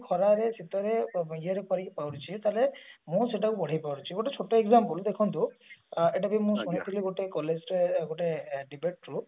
ଖରାରେ ଶୀତରେ ଇଏରେ କରିକି କରୁଛି ତାହେଲେ ମୁଁ ସେଇଟା କୁ ବଢେଇ ପାରୁଛି ଗୋଟେ ଛୋଟ example ଦେଖନ୍ତୁ ଅ ମୁଁ ଶୁଣିଥିଲି ଗୋଟେ collage ର ଗୋଟେ debate through ରୁ